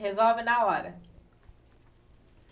Resolve na hora.